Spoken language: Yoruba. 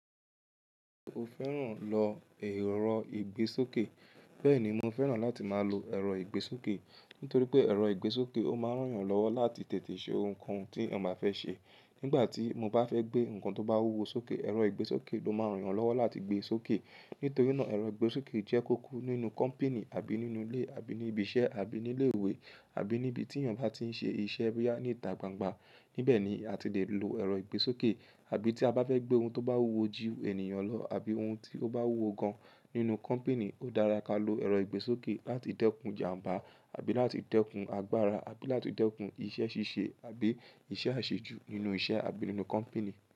O fẹ́ràn lọ èrò ìgbésókè? Bẹ́ẹ̀ni, mo fẹ́ràn láti máa lo èrò ìgbésókè. Nítorí pé èrò ìgbésókè ó máa ń ràn yàn lọ́wọ́ láti tètè ṣe ohun kohun tí ẹ̀yàn bá fẹ́ ṣe. Nígbà tí mo bá fẹ́ gbé nnkan tó bá wúwo sókè, èrò ìgbésókè ló máa ń ràn yàn lọ́wọ́ láti gbé e sókè. Nítorí náà èrò ìgbésókè jẹ́ kókó nínú kọ́mpìní àbí nínú ilé àbí ní ibi iṣẹ́ àbí ní ilé ìwé àbí ní ibi tí ènìyàn bá tí ń ṣe iṣẹ́, bóyá ní ìta gbangba. Níbẹ̀ ni a ti lè lo èrò ìgbésókè. Àbí tí a bá fẹ́ gbé ohun tó bá wúwo jí ènìyàn lọ àbí ohun tí ó bá wúwo gan nínú kọ́mpìní, ó dára kí a lo èrò ìgbésókè láti dẹ́kun ìjàmbá àbí láti dẹ́kun agbára àbí láti dẹ́kun iṣẹ́ ṣíṣe àbí iṣẹ́ àṣejù nínú iṣẹ́ àbí nínú kọ́mpìní.